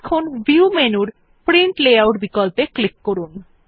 এখন ভিউ মেনুর print layout বিকল্পে ক্লিক করুন